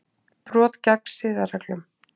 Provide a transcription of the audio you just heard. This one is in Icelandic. Brot gegn siðareglum